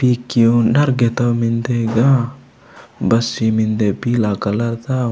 पीक्की ऊ नर गेथौऊ मेन्दे इगा बस मेन्दे पीला कलर ता।